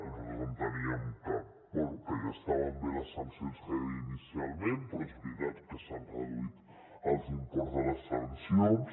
nosaltres enteníem que bé ja estaven bé les sancions que hi havia inicialment però és veritat que s’han reduït els imports de les sancions